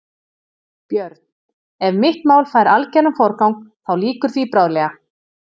BJÖRN: Ef mitt mál fær algeran forgang, þá lýkur því bráðlega.